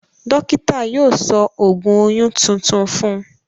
Dọ́kítà yóò sọ ògùn oyún tuntun fún un.